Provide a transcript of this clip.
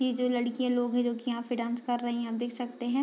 ई जो लड़कियाँ लोग हैं जो की यहाँ पे डांस कर रहीं हैं आप देख सकते हैं।